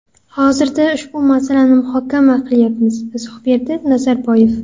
Hozirda ushbu masalani muhokama qilyapmiz”, izoh berdi Nazarboyev.